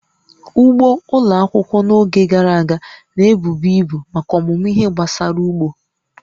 Ugbo ụlọ akwụkwọ n'oge gara aga, na-ebubu ibu maka ọmụmụ ihe gbasara ugbo